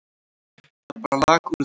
Það bara lak úr því.